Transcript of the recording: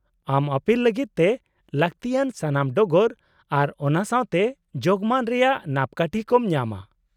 - ᱟᱢ ᱟᱹᱯᱤᱞ ᱞᱟᱹᱜᱤᱫ ᱛᱮ ᱞᱟᱹᱠᱛᱤᱭᱟᱱ ᱥᱟᱱᱟᱢ ᱰᱚᱜᱚᱨ ᱟᱨ ᱚᱱᱟ ᱥᱟᱶ ᱛᱮ ᱡᱳᱜᱢᱟᱱ ᱨᱮᱭᱟᱜ ᱱᱟᱯᱠᱟᱴᱷᱤ ᱠᱚᱢ ᱧᱟᱢᱟ ᱾